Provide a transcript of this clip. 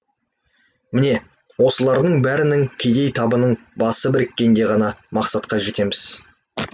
міне осылардың бәрінің кедей табының басы біріккенде ғана мақсатқа жетеміз